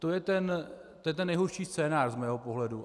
To je ten nejhorší scénář z mého pohledu.